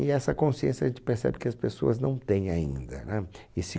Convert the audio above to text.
E essa consciência a gente percebe que as pessoas não têm ainda, né? Esse